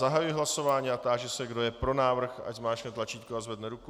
Zahajuji hlasování a táži se, kdo je pro návrh, ať zmáčkne tlačítko a zvedne ruku.